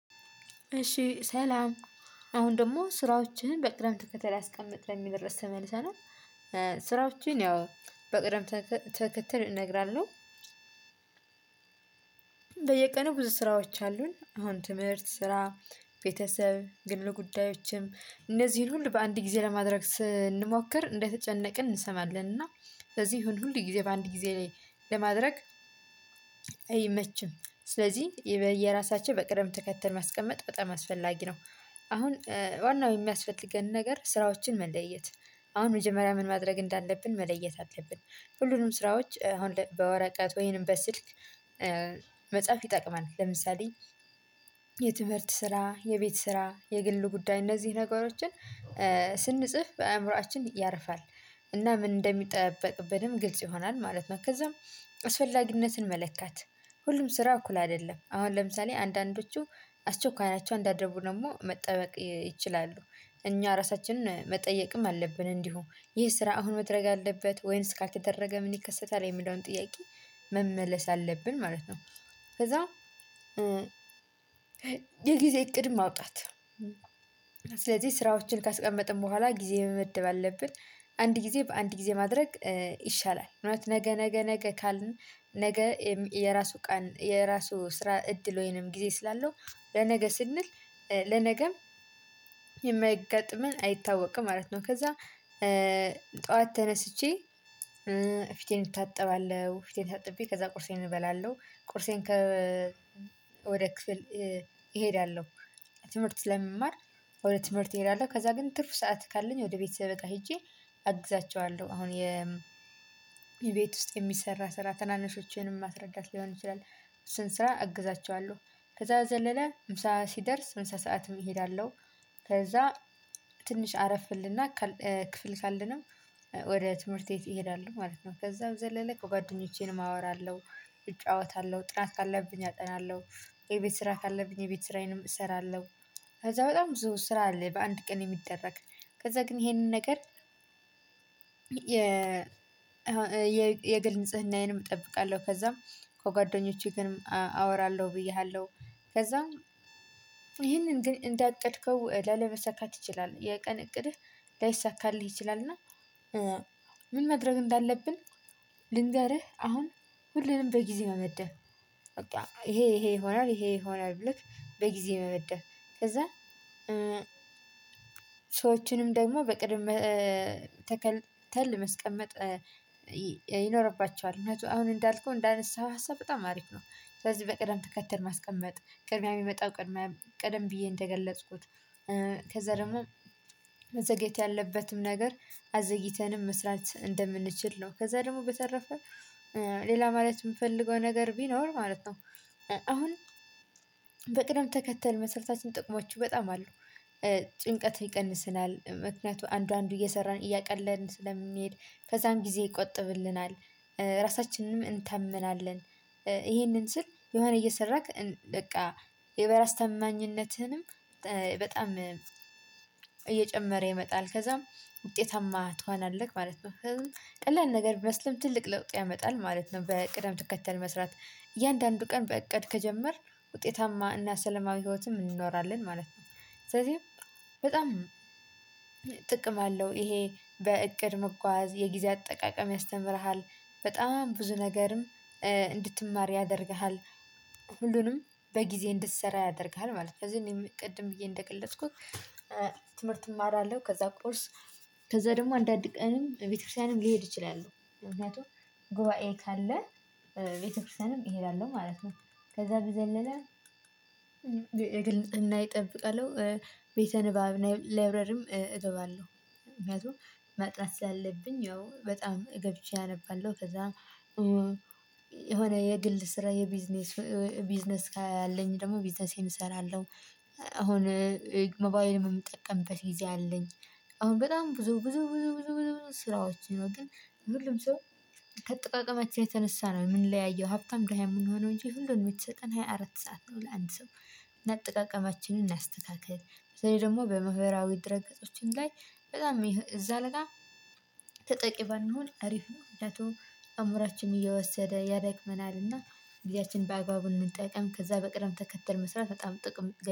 እሺ ሰላም አሁን ደግሞ ስራዎችን በቅደም ተከተል ያስቀመጥን የሚል ርዕስ ተመልሰናል። ስራዎችን ያው በቅደም ተከተል እነግራለሁ። በየቀኑ ብዙ ስራዎች አሉን አሁን ትምህርት ስራ ቤተሰብ ግል ጉዳዮችም እነዚህን ሁሉ በአንድ ጊዜ ለማድረግ ስንሞክር እንደተጨነቅን እንሰማለን። እና ስለዚህ ይሁን ሁሉ ጊዜ በአንድ ጊዜ ላይ ለማድረግ አይመችም። ስለዚህ በየራሳቸው በቅደም ተከተል ማስቀመጥ በጣም አስፈላጊ ነው። አሁን ዋናው የሚያስፈልገንን ነገር ስራዎችን መለየት። አሁን መጀመሪያ ምን ማድረግ እንዳለብን መለየት አለብን። ሁሉንም ስራዎች አሁን በወረቀት ወይንም በስልክ መጻፍ ይጠቅማል። ለምሳሌ የትምህርት ስራ የቤት ስራ የግል ጉዳይ እነዚህ ነገሮችን ስንጽፍ አእምሮአችን ያርፋል። እና ምን እንደሚጠበቅብንም ግልጽ ይሆናል ማለት ነው። ከዛም አስፈላጊነትን መለካት ሁሉም ስራ እኩል አይደለም። አሁን ለምሳሌ አንዳንዶቹ አስቸኳይ ናቸው አንዳንዱ ደግሞ መጠበቅ ይችላሉ። እኛ ራሳችንን መጠየቅም አለብን እንዲሁ ይህ ስራ አሁን መድረግ አለበት ወይንስ ካልተደረገ ምን ይከሰታል የሚለውን ጥያቄ መመለስ አለብን ማለት ነው። ከዛ የጊዜ እቅድ ማውጣት። ስለዚህ ስራዎችን ካስቀመጥን በኋላ ጊዜ መመደብ አለብን። አንድ ጊዜ በአንድ ጊዜ ማድረግ ይሻላል። እውነት ነገ ነገ ነገ ካልን ነገ የራሱ ቀን የራሱ ስራ እድል ወይንም ጊዜ ስላለው ለነገ ስንል ለነገም የሚያጋጥመን አይታወቅም ማለት ነው። ከዛ ጠዋት ተነስቼ ፊቴን እታጠባለሁ ፊቴን ታጥቤ ከዛ ቁርሴን እበላለሁ ቁርሴን ከ ወደ ክፍል እሄዳለሁ። ትምህርት ለመማር ወደ ትምህርት እሄዳለሁ። ከዛ ግን ትርፍ ሰዓት ካለኝ ወደ ቤተሰቤ ጋር ሄጄ አግዛቸዋለሁ። አሁን የ ቤት ውስጥ የሚሰራ ስራ ተናነሾቼንም ማስረዳት ሊሆን ይችላል። እሱን ስራ እግዛቸዋለሁ። ከዛ በዘለለ ምሳ ሲደርስ ምሳ ሰዓትም እሄዳለሁ። ከዛ ትንሽ አረፍ እልና ክፍል ካለንም ወደ ትምህርት ቤት እሄዳለው ማለት ነው። ከዛም በዘለለ ከጓደኞቼንም አወራለሁ እጫወታለሁ ጥናት ካለብኝ አጠናለሁ። የቤት ስራ ካለብኝ የቤት ስራዬንም እሰራለሁ። ከዛ በጣም ብዙ ስራ አለ በአንድ ቀን የሚደረግ ከዛ ግን ይሄንን ነገር። የ የግል ንጽህናዬንም እጠብቃለሁ። ከዛም ከጓደኞቼ ግን አወራለሁ ብዬሃለሁ። ከዛም ይሄንን ግን እንዳቀድከው ላለመሳካት ይችላል የቀን እቅድህ ላይሳካልህ ይችላል። እና ምን ማድረግ እንዳለብን? ልንገርህ አሁን ሁሉንም በጊዜ መመደብ በቃ ይሄ ይሄ ይሆናል ይሄ ይሆናል። ብለህ በጊዜ መመደብ። ከዛ ሰዎችንም ደግሞ በቅደም ተከተል ማስቀመጥ ይኖርባቸዋል። እና አሁን እንዳልኩህ እንዳነሳኸው ሀሳብ በጣም አሪፍ ነው። ስለዚህ በቅደም ትከተል ማስቀመጥ ቅድሚያ የሚመጣው ቅድሚያ ቀድም ብዬ እንደገለጽኩት። ከዛ ደግሞ መዘገየት ያለበትም ነገር አዘግይተንም መስራት እንደምንችል ነው። ከዛ ደግሞ በተረፈ ሌላ ማለት የምፈልገው ነገር ቢኖር ማለት ነው። አሁን በቅደም ተከተል መስራታችን ጥቅሞች በጣም አሉ። ጭንቀትን ይቀንስናል ምክንያቱም አንዱ አንዱ እየሰራን እያቀለልን ስለሚሄድ ከዛም ጊዜ ይቆጥብልናል። ራሳችንንም እንተምናለን። ይሄንን ስል የሆነ እየሰራክ በቃ የበራስ ተማኝነትህንም በጣም እየጨመረ ይመጣል ከዛም ውጤታማ ትሆናለህ ማለት ነው። ቀላል ነገር ቢመስልም ትልቅ ለውጥ ያመጣል ማለት ነው። በቅደም ትከተል መስራት እያንዳንዱ ቀን በእቅድ ከጀመርክ ውጤታማ እና ሰለማዊ ህይወትም እንኖራለን ማለት ነው። ስለዚህ በጣም ጥቅም አለው ይሄ በእቅድ መጓዝ የጊዜ አጠቃቀም ያስተምርሃል በጣም ብዙ ነገርም እንድትማር ያደርግሃል። ሁሉንም በጊዜ እንድትሰራ ያደርግሃል ማለት ነው። ቅድም ብዬ እንደገለጽኩት ትምህርት እማራለሁ ከዛ ቁርስ ከዛ ደግሞ አንዳንድ ቀንም ቤተክርስቲያንም ልሄድ እችላለሁ ምክንያቱም ጉባኤ ካለ ቤተክርስቲያንም እሄዳለሁ ማለት ነው። ከዛ በዘለለ እና እጠብቃለሁ ቤተ ንባብ ላይብረሪም እገባለሁ። ምክንያቱም ማጥናት ስላለብኝ ያው በጣም ገብቼ አነባለሁ። ከዛ የሆነ የግል ስራ የቢዝነስ ቢዝነስ ካለኝ ደግሞ ቢዝነሴን እሰራለሁ። አሁን ሞባይልም የምጠቀምበት ጊዜ አለኝ። አሁን በጣም ብዙ ብዙ ብዙ ብዙ ብዙ ስራዎችን ነው ግን ሁሉም ሰው ካጠቃቀማችን የተነሳ ነው የምንለያየው። ሀብታም ደሃ የምንሆነው እንጂ ሁሉንም የተሰጠን ሃያ አራት ሰዓት ነው። ለአንድ ሰው እና አጠቃቅማችንን እናስተካክል። ስለዚህ ደግሞ በማህበራዊ ድረግ ገጾችም ላይ በጣም እዛ ጋር ተጠቂ ባንሆን አሪፍ ነው። ምክንያቱም አእምሯችን እየወሰደ ያደክመናል። እና ግዜአችን በአግባቡ እንጠቀም ከዛ በቅደም ተከተል መስራት በጣም ጥቅም